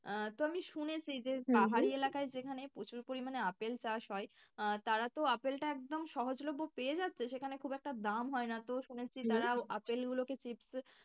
আহ তো আমি শুনেছি যে যেখানে প্রচুর পরিমাণে আপেল চাষ হয় আহ তারা তো আপেলটা একদম সহজলভ্য পেয়ে যাচ্ছে সেখানে খুব একটা দাম হয় না তো শুনেছি আপেল গুলোকে চিপস,